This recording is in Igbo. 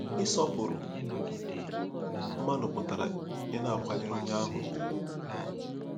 Ịsọpụrụ mmadụ pụtara ịna-akwanyere onye ahụ ùgwù.